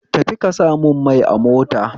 Tafi ka samun mai a mota